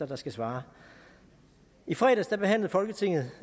der skal svare i fredags behandlede folketinget